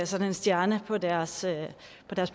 sådan en stjerne på deres